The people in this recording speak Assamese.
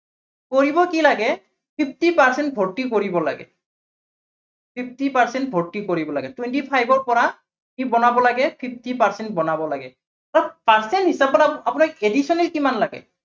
কৰিব কি লাগে, fifty percent ভৰ্তি কৰিব লাগে। fifty percent ভৰ্তি কৰিব লাগে। twenty five ৰ পৰা কি বনাব লাগে fifty percent বনাব লাগে। so percent হিচাপত আপোনাৰ additional কিমান লাগে?